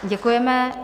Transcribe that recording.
Děkujeme.